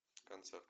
концерт